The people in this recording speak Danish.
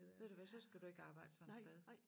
Ved du hvad så skal du ikke arbejde sådan et sted